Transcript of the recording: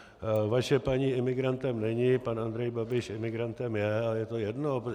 Vaše paní imigrantem není, pan Andrej Babiš imigrantem je a je to jedno.